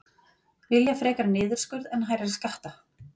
Vilja frekar niðurskurð en hærri skatta